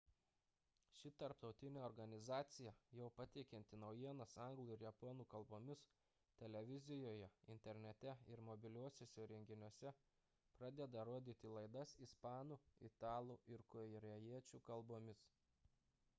ši tarptautinė organizacija jau pateikianti naujienas anglų ir japonų kalbomis televizijoje internete ir mobiliuosiuose įrenginiuose pradeda rodyti laidas ispanų italų ir korėjiečių kalbomis